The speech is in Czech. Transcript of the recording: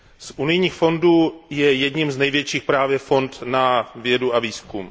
Z unijních fondů je jedním z největších právě fond na vědu a výzkum.